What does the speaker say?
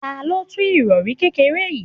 Ta ló tú irori kékeré yìí?